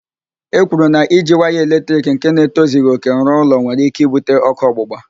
E kwuru na iji waya eletrik nke na-etozighi òkè rụọ ụlọ were ike ibute ókụ́ ọgbụgba.